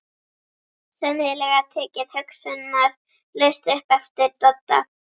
Sennilega tekið hugsunarlaust upp eftir Dodda.